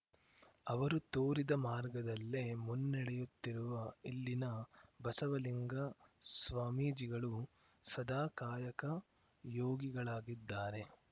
ಅವರು ತೋರಿದ ಮಾರ್ಗದಲ್ಲೇ ಮುನ್ನೆಡೆಯುತ್ತಿರುವ ಇಲ್ಲಿನ ಬಸವಲಿಂಗ ಸ್ವಾಮೀಜಿಗಳು ಸದಾ ಕಾಯಕ ಯೋಗಿಗಳಾಗಿದ್ದಾರೆ